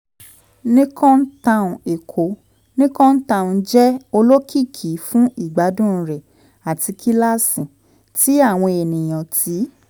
nicon town cs] èkó: nicon town jẹ olokiki fun igbadun rẹ ati kilasi ti awọn eniyan ti